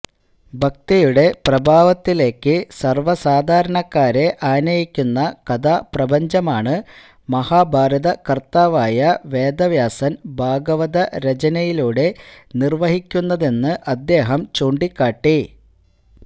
ഭക്തിയുടെ പ്രഭാവത്തിലേക്ക് സര്വസാധാരണക്കാരെ ആനയിക്കുന്ന കഥാപ്രപഞ്ചമാണ് മഹാഭാരതകര്ത്താവായ വേദവ്യാസന് ഭാഗവത രചനയിലൂടെ നിര്വഹിക്കുന്നതെന്ന് അദ്ദേഹം ചൂണ്ടിക്കാട്ടി